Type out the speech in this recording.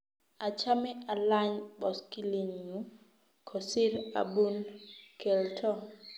achame alany boskilii nyu kosir abun kelto.